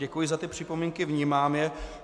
Děkuji za ty připomínky, vnímám je.